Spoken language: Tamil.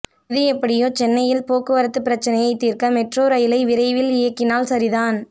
எது எப்படியோ சென்னையில் போக்குவரத்து பிரச்சினையை தீர்க்க மெட்ரோ ரயிலை விரைவில் இயக்கினால் சரிதான்